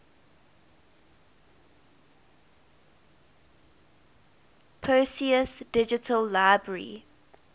perseus digital library